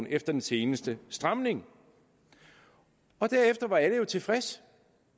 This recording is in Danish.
efter den seneste stramning derefter var alle tilfredse